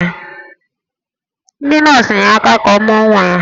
Ndị nọọsụ nyere aka ka ọ mụọ nwa ya